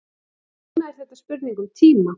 Núna er þetta spurning um tíma.